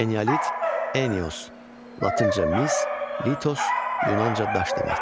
Eneolit: Eneos, latınca mis, Litos, yunanca daş deməkdir.